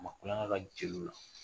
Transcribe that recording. A ma tulonkɛ jeliw la.